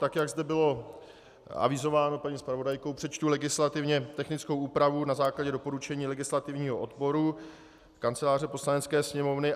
Tak jak zde bylo avizováno paní zpravodajkou, přečtu legislativně technickou úpravu na základě doporučení legislativního odboru Kanceláře Poslanecké sněmovny.